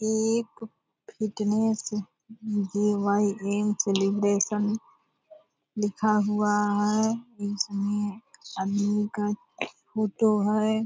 यह एक fitness G Y M. Celebration लिखा हुआ है इसमें आदमी का फोटो है।